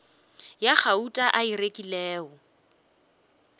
ya gauta a e rekilego